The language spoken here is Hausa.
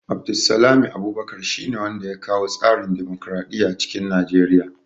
Abdulsalmi Abubakar shi ne wanda ya kawo tsarin dimokraɗiya cikin Nigeriya